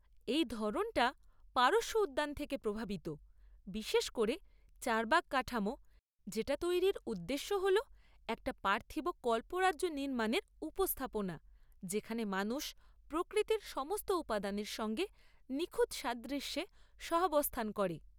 এই ধরনটা পারস্য উদ্যান থেকে প্রভাবিত, বিশেষ করে চারবাগ কাঠামো, যেটা তৈরির উদ্দেশ্য হল একটা পার্থিব কল্পরাজ্য নির্মাণের উপস্থাপনা, যেখানে মানুষ প্রকৃতির সমস্ত উপাদানের সঙ্গে নিখুঁত সাদৃশ্যে সহাবস্থান করে।